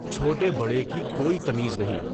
چهوٹے بڑے کی کوئی تمیز نہیں۔